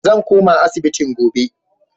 Zan koma asibitin gobe.